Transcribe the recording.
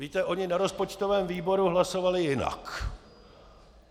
Víte, oni na rozpočtovém výboru hlasovali jinak.